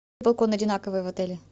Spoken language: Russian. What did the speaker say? балкон одинаковый в отеле